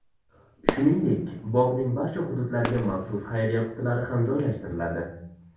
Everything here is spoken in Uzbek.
Shuningdek bog‘ning barcha hududlariga maxsus xayriya qutilari ham joylashtiriladi.